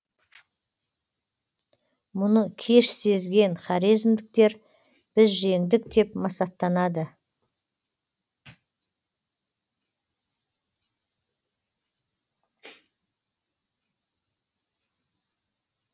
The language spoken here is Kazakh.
мұны кеш сезген хорезмдіктер біз жеңдік деп масаттанады